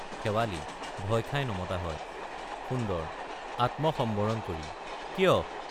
শেৱালি— ভয় খাই নমতা হয় সুন্দৰ— আত্ম সম্বৰণ কৰি কিয়?